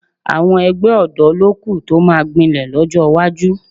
Àwọn ẹgbẹ́ ọ̀dọ́ ló kù tó máa gbilẹ̀ lọ́jọ́ iwájú